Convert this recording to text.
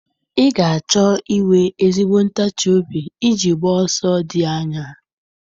Ị ga-achọ inwe ezigbo ntachi obi iji gbaa ọsọ dị anya